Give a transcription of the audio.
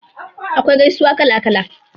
Akwai gaisuwa kala kala.